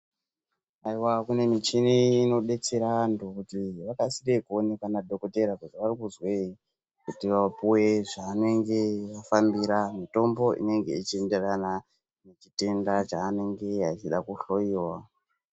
Haiwa kune michini inodetsera antu kuti vakasire kuonekwa nadhogodheya kuti vaeikuzwei kuti vapiwe zvavanenge vafambira mutombo inenge ichienderane nechitenda chaanenge ahloyiwa.